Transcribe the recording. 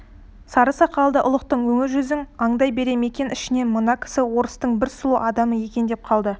сары сақалды ұлықтың өңі-жүзін аңдай бере мәкен ішінен мына кісі орыстың бір сұлу адамы екен деп қалды